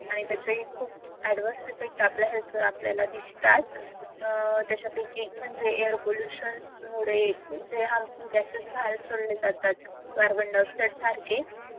आणि त्याचे खूप adverse effect आपल्या health वर आपल्याला दिसतात अह त्यांच्यापैकी एक म्हणजे air pollution मुले जे harmful gases बाहेर सोडले जातात कार्बनडायॉक्सिड सारखे